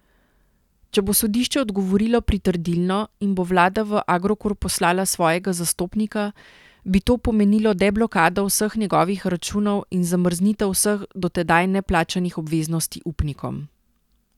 Če bo sodišče odgovorilo pritrdilno in bo vlada v Agrokor poslala svojega zastopnika, bi to pomenilo deblokado vseh njegovih računov in zamrznitev vseh do tedaj neplačanih obveznosti upnikom.